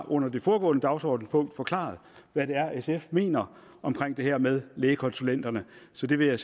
under det foregående dagsordenspunkt har forklaret hvad sf mener om det her med lægekonsulenterne så det vil jeg